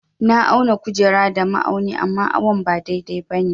Na auna kujera da ma'auni amma awon ba dai-dai ba ne.